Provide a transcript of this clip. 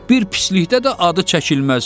Bir pislikdə də adı çəkilməz.